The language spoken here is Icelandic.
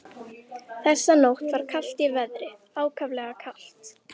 Þessa nótt var kalt í veðri, ákaflega kalt.